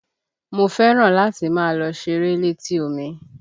Mo fẹ́ràn láti máa lọ ṣeré létí omi